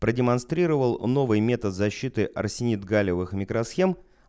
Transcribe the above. продемонстрировал новый метод защиты арсенид галлиевых микросхем